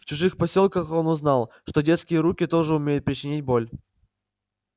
в чужих посёлках он узнал что детские руки тоже умеют причинить боль